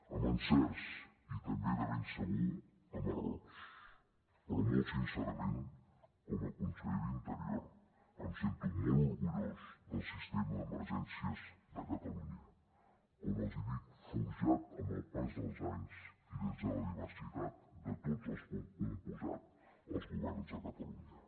amb encerts i també de ben segur amb errors però molt sincerament com a conseller d’interior em sento molt orgullós del sistema d’emergències de catalunya com els dic forjat amb el pas dels anys i des de la diversitat de tots els que han compost els governs de catalunya